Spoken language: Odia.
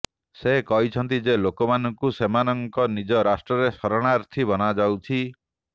ସେ କହିଛନ୍ତି ଯେ ଲୋକମାନଙ୍କୁ ସେମାନଙ୍କ ନିଜ ରାଷ୍ଟ୍ରରେ ଶରଣାର୍ଥୀ ବନାଯାଉଛି